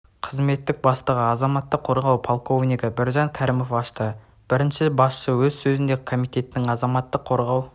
қызметінің бастығы азаматтық қорғау полковнигі біржан кәрімов ашты бірінші басшы өз сөзінде комитетінің азаматтық қорғау